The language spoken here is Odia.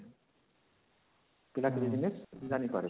ପିଲା ଜାଣିପାରେ